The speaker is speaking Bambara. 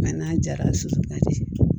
Mɛ n'a jara sufɛ ka di